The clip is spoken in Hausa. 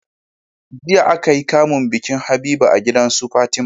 jiya akayi kamun bikin habiba a gidansu fatima